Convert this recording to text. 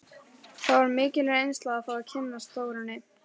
Það var mikil reynsla að fá að kynnast Þórunni.